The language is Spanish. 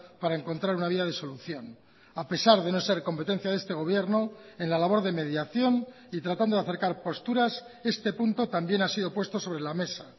para encontrar una vía de solución a pesar de no ser competencia de este gobierno en la labor de mediación y tratando de acercar posturas este punto también ha sido puesto sobre la mesa